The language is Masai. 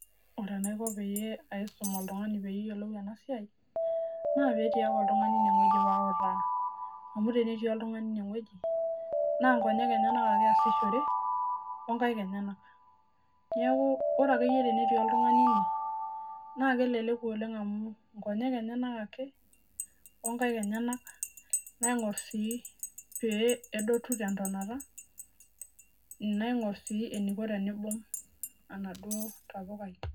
Ore enaiko pee paisum oltungani peeyiolou ena siaai, naa peetii Ake oltungani ine. Wueji paautaaa amu tenetii oltungani ine wueji naa nkonyek enyenak Ake eyasishore okaik enyena niaaku ore akeyie tenetii oltungani ine naa keleleku oleng amuu nkonyek enyenak ake ookaik enyenak naiborr sii peedotu tentonata naiborr sii eniko tenibung enaduoo tapukai.